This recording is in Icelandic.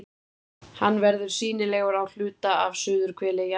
Hann verður sýnilegur á hluta af suðurhveli jarðar.